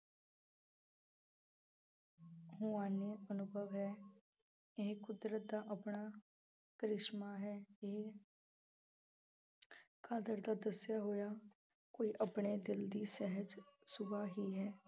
ਰੂਹਾਨੀ ਅਨੁਭਵ ਹੈ, ਇਹ ਕੁਦਰਤ ਦਾ ਆਪਣਾ ਕ੍ਰਿਸ਼ਮਾ ਹੈ ਇਹ ਕਾਦਰ ਦਾ ਦੱਸਿਆ ਹੋਇਆ ਕੋਈ ਆਪਣੇ ਦਿਲ ਦੀ ਸਹਿਜ ਸੁਭਾਅ ਹੀ ਹੈ।